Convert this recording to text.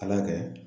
Ala kɛ